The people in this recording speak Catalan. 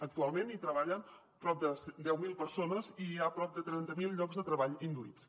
actualment hi treballen prop de deu mil persones i hi ha prop de trenta mil llocs de treball induïts